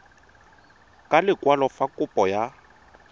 ka lekwalo fa kopo ya